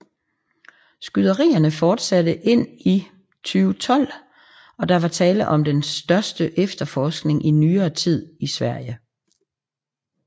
Skyderierne fortsatte ind i 2012 og der var tale om den største efterforskning i nyere tid i Sverige